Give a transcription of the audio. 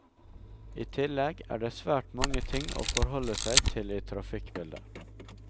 I tillegg er det svært mange ting å forholde seg til i trafikkbildet.